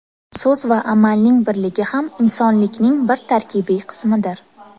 So‘z va amalning birligi ham insonlikning bir tarkibiy qismidir.